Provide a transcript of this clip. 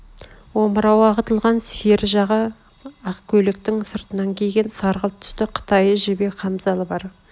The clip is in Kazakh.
омырауы ағытылған сер жаға ақ көйлектің сыртынан киген сарғылт түсті қытайы жібек хамзалы бар